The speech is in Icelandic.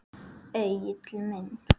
Egill minn.